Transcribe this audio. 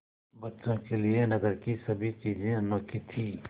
बच्चों के लिए नगर की सभी चीज़ें अनोखी थीं